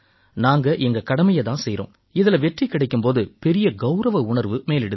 நாங்க எங்க கடமையைத் தான் செய்யறோம் இதில வெற்றி கிடைக்கும் போது பெரிய கௌரவ உணர்வு மேலிடுது